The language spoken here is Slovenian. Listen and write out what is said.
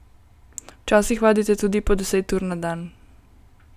Včasih vadite tudi po deset ur na dan.